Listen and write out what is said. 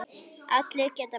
Allir geta breyst.